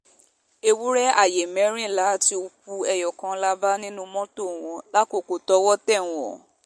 ewúrẹ́ ààyè mẹ́rìnlá àti òkú ẹyọ kan la bá nínú mọ́tò wọn lákòókò tọ́wọ́ tẹ̀ wọ́n